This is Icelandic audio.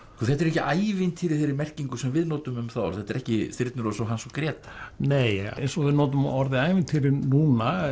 þetta eru ekki ævintýri í þeirri merkingu sem við notum um það orð þetta eru ekki Þyrnirós og Hans og Gréta nei eins og við notum orðið ævintýri núna